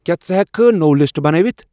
کیا ژٕ ہیکِہ کھہ نٔو لسٹہٕ بنٲوِتھ؟